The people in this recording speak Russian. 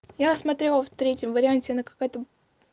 я смотрела в третьем варианте она какая-то